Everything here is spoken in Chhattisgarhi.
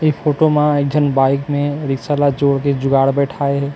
ए फोटो म एक झन बाइक में रिक्शा ला जोड़ ले जुगाड़ बैठाए हे ।